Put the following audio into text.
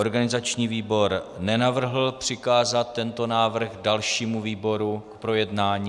Organizační výbor nenavrhl přikázat tento návrh dalšímu výboru k projednání.